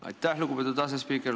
Aitäh, lugupeetud asespiiker!